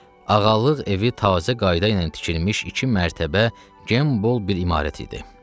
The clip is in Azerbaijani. Ağalıq evi tazə qayda ilə tikilmiş iki mərtəbə gem bol bir imarət idi.